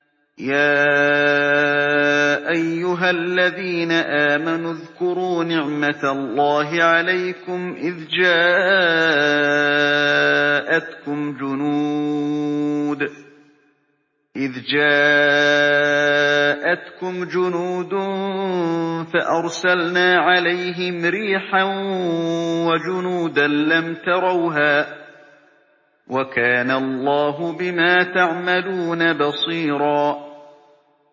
يَا أَيُّهَا الَّذِينَ آمَنُوا اذْكُرُوا نِعْمَةَ اللَّهِ عَلَيْكُمْ إِذْ جَاءَتْكُمْ جُنُودٌ فَأَرْسَلْنَا عَلَيْهِمْ رِيحًا وَجُنُودًا لَّمْ تَرَوْهَا ۚ وَكَانَ اللَّهُ بِمَا تَعْمَلُونَ بَصِيرًا